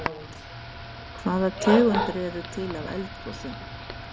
Hvaða tegundir eru til af eldgosum?